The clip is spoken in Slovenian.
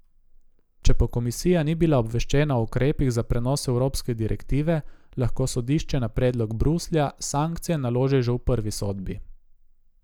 Če pa komisija ni bila obveščena o ukrepih za prenos evropske direktive, lahko sodišče na predlog Bruslja sankcije naloži že v prvi sodbi.